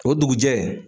O dugujɛ